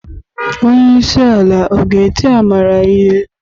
Onye isi ala ọ ga-eti Amara ihe?